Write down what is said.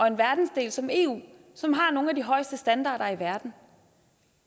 en verdensdel som eu som har nogle af de højeste standarder i verden